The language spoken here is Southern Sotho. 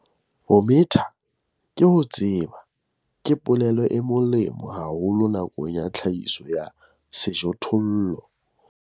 'Ho metha ke ho tseba' ke polelo e molemo haholo nakong ya tlhahiso ya sejothollo.